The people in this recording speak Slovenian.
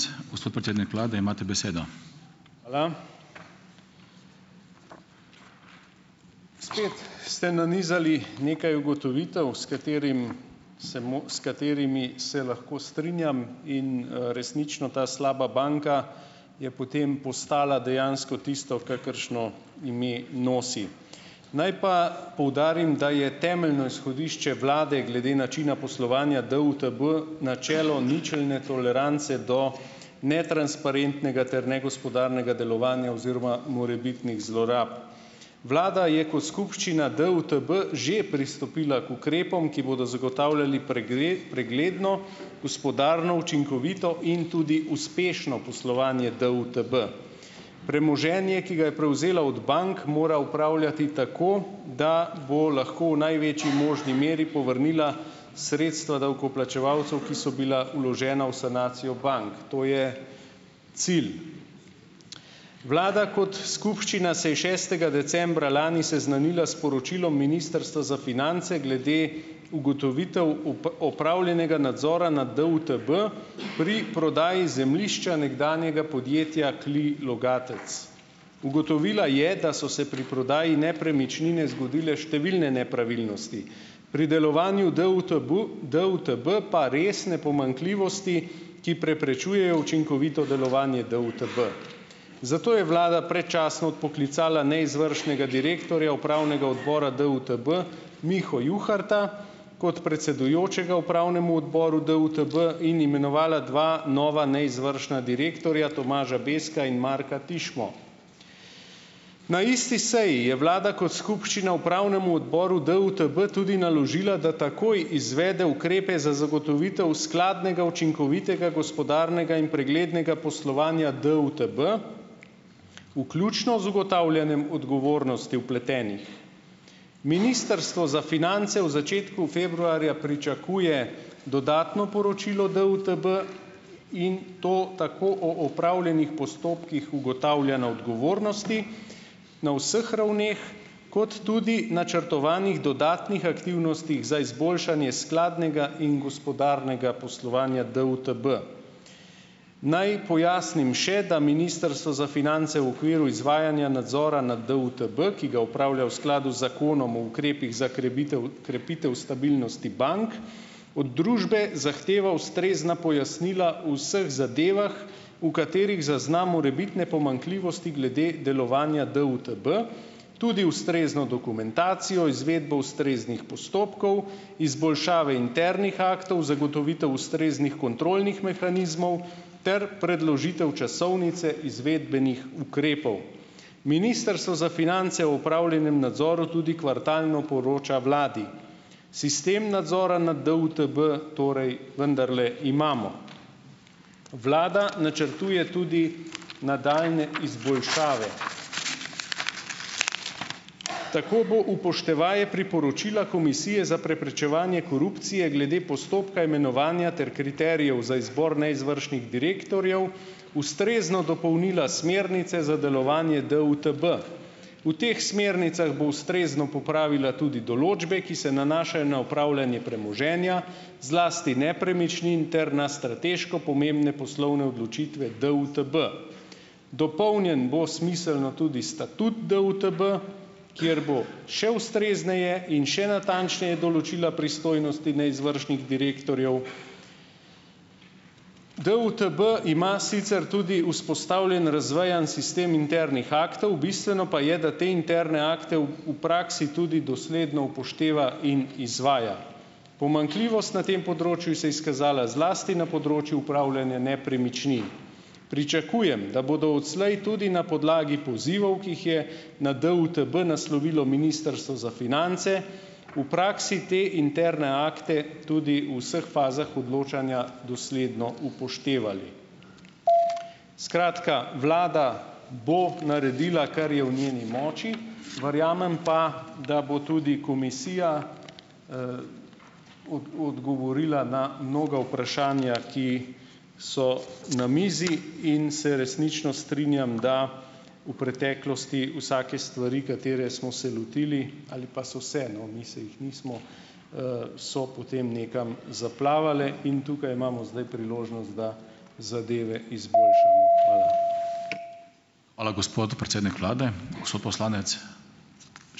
Hvala. Spet ste nanizali nekaj ugotovitev, s katerimi se bomo, s katerimi se lahko strinjam in, resnično ta slaba banka je potem postala dejansko tisto, kakršno ime nosi. Naj pa poudarim, da je temeljno izhodišče vlade glede načina poslovanja DUTB načelo ničelne tolerance do netransparentnega ter negospodarnega delovanja oziroma morebitnih zlorab. Vlada je kot skupščina DUTB že pristopila k ukrepom, ki bodo zagotavljali pregledno, gospodarno, učinkovito in tudi uspešno poslovanje DUTB. Premoženje, ki ga je prevzela od bank, mora upravljati tako, da bo lahko v največji možni meri povrnila sredstva davkoplačevalcu, ki so bila vložena v sanacijo bank, to je cilj. Vlada kot skupščina se je šestega decembra lani seznanila s poročilom Ministrstva za finance glede ugotovitev opravljenega nadzora nad DUTB pri prodaji zemljišča nekdanjega podjetja Kli Logatec. Ugotovila je, da so se pri prodaji nepremičnine zgodile številne nepravilnosti, pri delovanju DUTB, DUTB pa resne pomanjkljivosti, ki preprečujejo učinkovito delovanje DUTB. Zato je vlada predčasno odpoklicala neizvršnega direktorja upravnega odbora DUTB Miho Juharta kot predsedujočega upravnemu odboru DUTB in imenovala dva nova neizvršna direktorja, Tomaža Bezka in Marka Tišmo. Na isti seji je vlada kot skupščina upravnemu odboru DUTB tudi naložila, da takoj izvede ukrepe za zagotovitev skladnega, učinkovitega, gospodarnega in preglednega poslovanja DUTB, vključno z ugotavljanjem odgovornosti vpletenih. Ministrstvo za finance v začetku februarja pričakuje dodatno poročilo DUTB, in to tako o opravljenih postopkih ugotavljanja odgovornosti, na vseh ravneh, kot tudi načrtovanih dodatnih aktivnosti za izboljšanje skladnega in gospodarnega poslovanja DUTB. Naj pojasnim še, da Ministrstvo za finance v okviru izvajanja nadzora nad DUTB, ki ga opravlja v skladu z Zakonom o ukrepih za krebitev, krepitev stabilnosti bank, od družbe zahteva ustrezna pojasnila v vseh zadevah, v katerih zazna morebitne pomanjkljivosti glede delovanja DUTB, tudi ustrezno dokumentacijo, izvedbo ustreznih postopkov, izboljšave internih aktov, zagotovitev ustreznih kontrolnih mehanizmov ter predložitev časovnice izvedbenih ukrepov. Ministrstvo za finance o opravljenem nadzoru tudi kvartalno poroča vladi. Sistem nadzora nad DUTB torej vendarle imamo. Vlada načrtuje tudi nadaljnje izboljšave. Tako bo upoštevaje priporočila Komisije za preprečevanje korupcije glede postopka imenovanja ter kriterijev za izbor neizvršnih direktorjev ustrezno dopolnila smernice za delovanje DUTB. V teh smernicah bo ustrezno popravila tudi določbe, ki se nanašajo na upravljanje premoženja, zlasti nepremičnin, ter na strateško pomembne poslovne odločitve DUTB. Dopolnjen bo smiselno tudi statut DUTB, kateri bo še ustrezneje in še natančneje določila pristojnosti neizvršnih direktorjev. DUTB ima sicer tudi vzpostavljen razvejan sistem internih aktov, bistveno pa je, da te interne akte v, v praksi tudi dosledno upošteva in izvaja. Pomanjkljivost na tem področju se je izkazala zlasti na področju upravljanja nepremičnin. Pričakujem, da bodo odslej tudi na podlagi pozivov, ki jih je na DUTB naslovilo Ministrstvo za finance, v praksi te interne akte tudi v vseh fazah odločanja dosledno upoštevali. Skratka, vlada bo naredila, kar je v njeni moči, verjamem pa, da bo tudi komisija, od, odgovorila na mnoga vprašanja, ki so na mizi. In se resnično strinjam, da v preteklosti vsake stvari, katere smo se lotili ali pa so se, no, mi se jih nismo, so potem nekam zaplavale in tukaj imamo zdaj priložnost, da zadeve izboljšamo. Hvala.